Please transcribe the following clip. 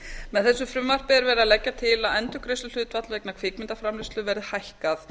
með þessu frumvarpi er verið að leggja til að endurgreiðsluhlutfall vegna kvikmyndaframleiðslu verði hækkað